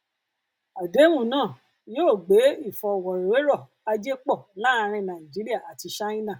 àdéhùn náà yóò gbé ìfọrọwérọ ajé pọ láàárin nàìjíríà àti ṣáínà